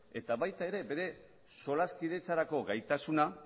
eta baita ere bere solaskidetzarako gaitasuna